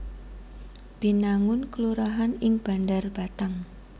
Binangun kelurahan ing Bandar Batang